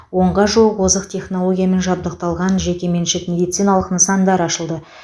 онға жуық озық технологиямен жабдықталған жеке меншік медициналық нысандар ашылды